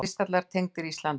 Kristallar tengdir Íslandi